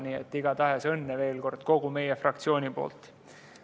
Nii et igatahes õnne veel kord kogu meie fraktsiooni nimel!